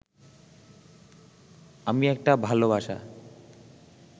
আমি একটা ভাল বাসা